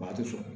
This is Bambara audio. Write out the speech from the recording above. Ba ti fo